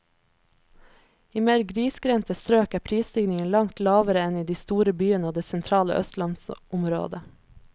I mer grisgrendte strøk er prisstigningen langt lavere enn i de store byene og det sentrale østlandsområdet.